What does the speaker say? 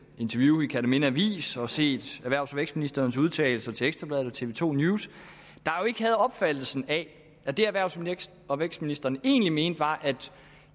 interview i kjerteminde avis og set erhvervs og vækstministerens udtalelser til ekstra bladet og tv to news ikke havde opfattelsen af at det erhvervs og vækstministeren egentlig mente var at